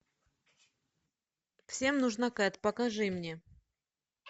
всем нужна кэт покажи мне